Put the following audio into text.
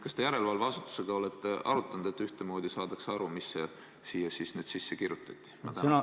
Kas te järelevalveasutusega olete arutanud, et saadaks ühtemoodi aru, mis siia siis nüüd sisse kirjutati?